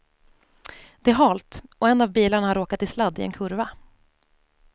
Det är halt och en av bilarna har råkat i sladd i en kurva.